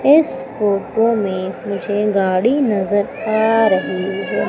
इस फोटो में मुझे गाड़ी नजर आ रही है।